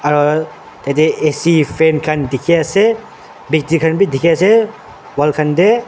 tate A_C fan khan dikhi ase pachi khan bhi dikhi ase wall khan teh.